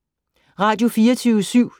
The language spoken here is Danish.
Radio24syv